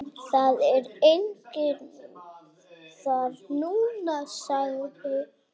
Það er enginn þar núna.